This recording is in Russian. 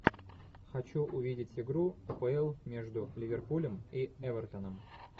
хочу увидеть игру апл между ливерпулем и эвертоном